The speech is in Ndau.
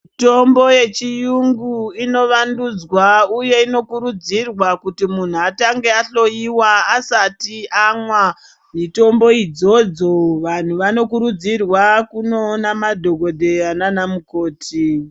Mitombo yechiyungu ino vandudzwa uye ino kurudzirwa kuti munhu atange adhloyiwa asati amwa mitombo idzodzo vanhu vano kurudzirwa kunoona madhokoteya nana mukoti.